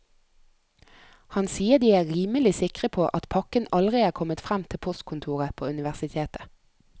Han sier de er rimelig sikre på at pakken aldri er kommet frem til postkontoret på universitetet.